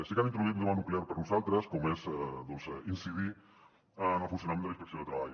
sí que han introduït un tema nuclear per nosaltres com és doncs incidir en el funcionament de la inspecció de treball